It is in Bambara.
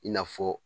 I n'a fɔ